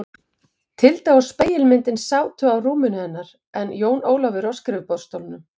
Tilda og spegilmyndin sátu á rúminu hennar en Jón Ólafur á skrifborðsstólnum.